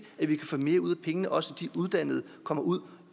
at vi kan få mere ud af pengene og også de uddannede kommer ud